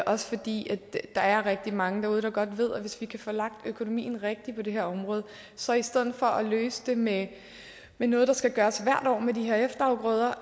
også fordi der er rigtig mange derude der godt ved at hvis vi kan få lagt økonomien rigtigt på det her område så i stedet for at løse det med noget der skal gøres hvert år med de her efterafgrøder